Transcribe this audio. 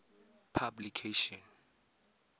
publication